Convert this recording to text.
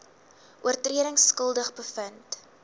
oortredings skuldig bevind